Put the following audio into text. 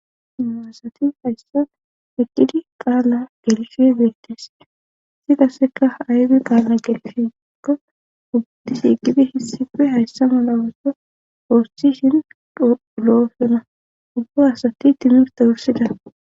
maasati hayssa eqqidi qaala gelishie beettes isi qasseka ayge qaala gelfikko ubatishiqibe hissipe hayssa mala wosso pooschishin olo7osona ubba asati timirta wursida